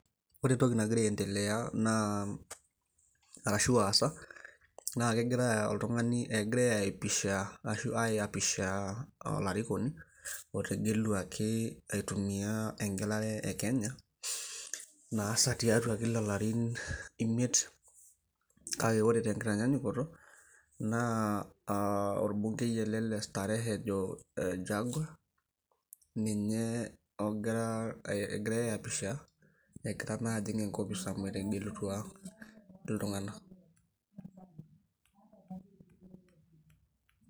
ore entoki nagira aaentelea arashu aasa naa kegirai ayapisha olarikoni otegeluaki, atumia egelare ekenya naasa kila ilarin imiet, kake ore tenkitanyanyukoto naa orbongei ele le starehe ojo jag , ninye egirai ayapisha egira naa ajing engopis amu etegelutua iltung'anak.